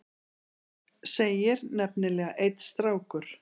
segir nefnilega einn strákur.